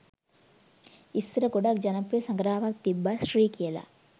ඉස්සර ගොඩක් ජනප්‍රිය සඟරාවක් තිබ්බා ශ්‍රී කියලා